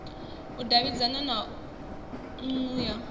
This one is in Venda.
u davhidzana na nnu ya